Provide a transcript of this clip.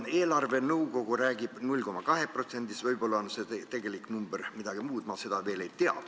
Eelarvenõukogu räägib 0,2%-st, võib-olla tegelik number on midagi muud, ma seda veel ei tea.